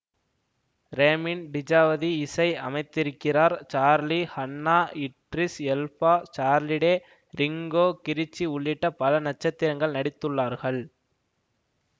ரேமின் Djawadi இசை அமைத்திருக்கிறார் Charlie Hunnam Idris Elba Charlie Day Rinko Kikuchi உள்ளிட்ட பல நட்சத்திரங்கள் நடித்துள்ளார்கள்